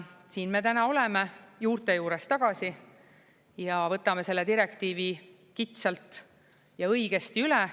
Siin me täna oleme, juurte juures tagasi, ja võtame selle direktiivi kitsalt ja õigesti üle.